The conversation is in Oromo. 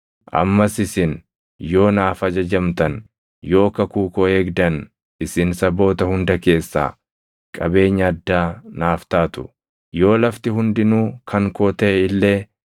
Ammas isin yoo naaf ajajamtan, yoo kakuu koo eegdan isin saboota hunda keessaa qabeenya addaa naaf taatu. Yoo lafti hundinuu kan koo taʼe illee,